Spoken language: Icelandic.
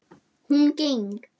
Hún geng